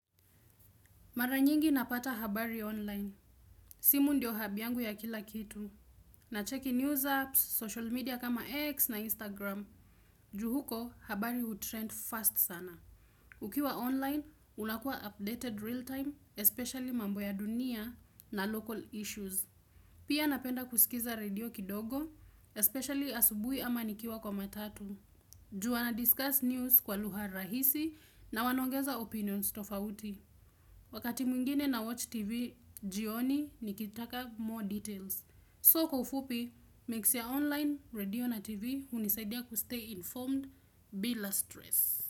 Mara nyingi napata habari online. Simu ndio hub yangu ya kila kitu. Nacheki news apps, social media kama X na Instagram. Ju huko habari utrend fast sana. Ukiwa online, unakua updated real time, especially mambo ya dunia na local issues. Pia napenda kusikiza radio kidogo, especially asubui ama nikiwa kwa matatu. Jua wana discuss news kwa lugha rahisi na wanaongeza opinions tofauti. Wakati mwingine na watch TV, jioni nikitaka more details. So kwa ufupi, mix ya online, radio na TV, unisaidia kustay informed bila stress.